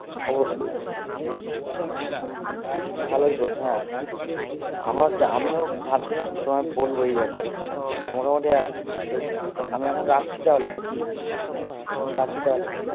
অবশ্যই হম হম ভালোই করেছো হ্যাঁ হ্যাঁ আমার আমিও ভাবছিলাম যে তোমায় বলবো এই ব্যাপারে তো মোটামুটি আমি এখন রাখছি তাহলে নাকি? এখন রাখি তাহলে